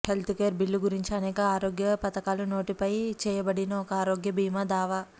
health care bill గురించి అనేక ఆరోగ్య పధకాలు నోటిఫై చేయబడిన ఒక ఆరోగ్య బీమా దావా